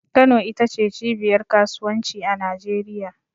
Kano ita ce cibiyar kasuwanci a Najeriya.